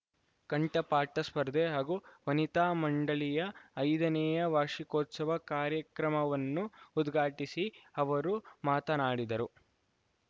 ಕಂಠಪಾಠ ಸ್ಪರ್ಧೆ ಹಾಗೂ ವನಿತಾ ಮಂಡಳಿಯ ಐದನೇ ವಾರ್ಷಿಕೋತ್ಸವ ಕಾರ್ಯಕ್ರಮವನ್ನು ಉದ್ಘಾಟಿಸಿ ಅವರು ಮಾತನಾಡಿದರು